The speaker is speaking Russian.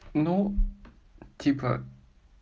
ну типа